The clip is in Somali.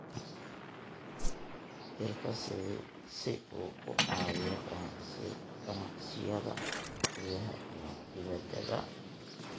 biirka si uu u caawiyo ganacsiyada gudaha iyo dibaddaba.